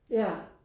Ja